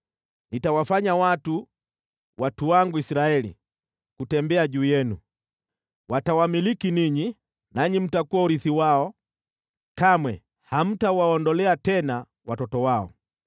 Nitawafanya watu, watu wangu Israeli, kutembea juu yenu. Watawamiliki ninyi, nanyi mtakuwa urithi wao, kamwe hamtawaondolea tena watoto wao.